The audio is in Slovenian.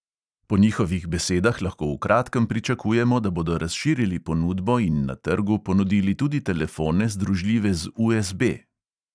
Po njihovih besedah lahko v kratkem pričakujemo, da bodo razširili ponudbo in na trgu ponudili tudi telefone, združljive z USB.